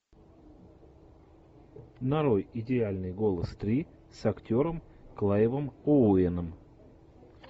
нарой идеальный голос три с актером клайвом оуэном